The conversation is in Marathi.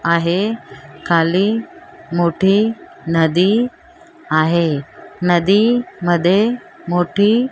आहे खाली मोठी नदी आहे नदी मध्ये मोठी--